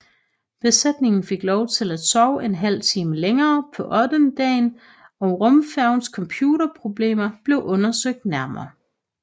Besætningen fik lov til at sove en halv time længere på ottendedagen og rumfærgens computerproblemer blev undersøgt nærmere